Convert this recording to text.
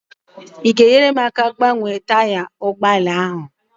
ị ga-enyere m aka ịgbanwe taya ụgbọ ala a?